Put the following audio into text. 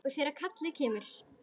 Og þegar kallið kemur.